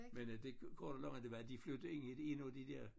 Men øh det korte af det lange det var de flyttede ind i en af de der